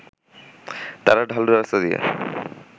তারা ঢালু রাস্তা দিয়ে